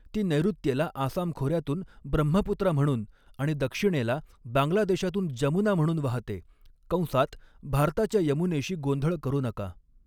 ती नैऋत्येला आसाम खोऱ्यातून ब्रह्मपुत्रा म्हणून आणि दक्षिणेला बांगलादेशातून जमुना म्हणून वाहते कंसात भारताच्या यमुनेशी गोंधळ करू नका.